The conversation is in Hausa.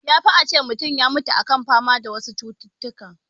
Ya fi a ce mutun ya mutu a kan fama da wasu cututtukan